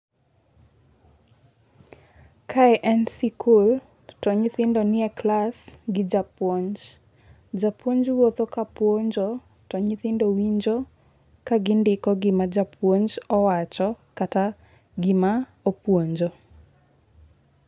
Kae en sikul to nyithindo nie klas gi japuonj. Japuonj wuotho ka puonjo to nyithindo winjo ka gindiko gima japuonj owacho kata gima opuonjo.